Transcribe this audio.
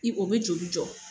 I o bɛ joli jɔ.